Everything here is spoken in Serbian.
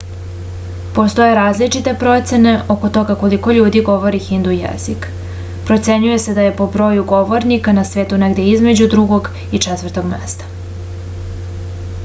postoje različite procene oko toga koliko ljudi govori hindu jezik procenjuje se da je po broju govornika na svetu negde između drugog i četvrtog mesta